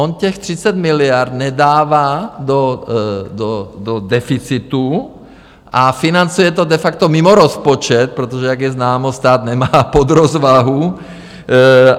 On těch 30 miliard nedává do deficitu, a financuje to de facto mimo rozpočet, protože, jak je známo, stát nemá podrozvahu.